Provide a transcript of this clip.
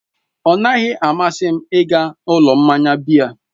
Ọnaghị amasị m ịga ụlọ mmanya biya.